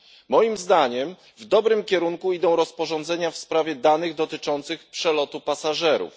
Moim zdaniem w dobrym kierunku idą rozporządzenia w sprawie danych dotyczących przelotu pasażerów.